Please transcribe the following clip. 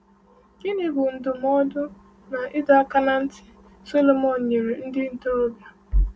Gịnị bụ ndụmọdụ na ịdọ aka ná ntị Solomọn nyere ndị ntorobịa?